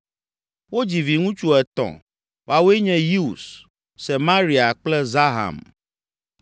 Wodzi viŋutsu etɔ̃; woawoe nye Yeus, Semaria kple Zaham.